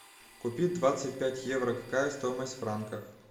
купить двадцать пять евро какая стоимость в франках